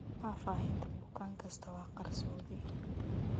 Faahfaahinta bukaan kasta waa qarsoodi.